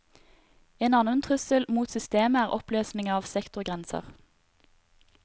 En annen trussel mot systemet er oppløsningen av sektorgrenser.